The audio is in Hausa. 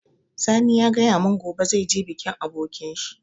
Sani ya gaya mun gobe zai je bikin abokin shi